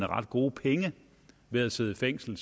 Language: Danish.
ret gode penge ved at sidde i fængsel